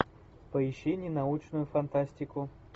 поищи ненаучную фантастику